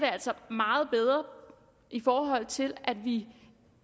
meget bedre i forhold til at vi